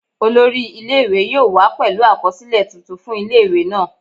Olori ile-iwe yoo wa pẹlu akọsilẹ tuntun fun ile-iwe naa